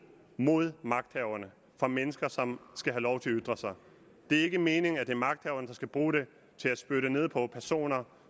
mod magthaverne for mennesker som skal have lov til at ytre sig det er ikke meningen at det er magthaverne der skal bruge den til at spytte ned på personer